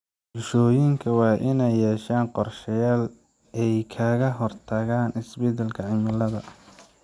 Bulshooyinka waa inay yeeshaan qorsheyaal ay kaga hortagaan isbedelka cimilada.